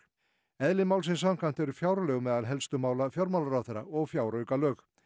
eðli málsins samkvæmt eru fjárlög meðal helstu mála fjármálaráðherra og fjáraukalög